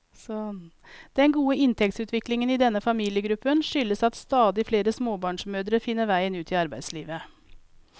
Den gode inntektsutviklingen i denne familiegruppen skyldes at stadig flere småbarnsmødre finner veien ut i arbeidslivet.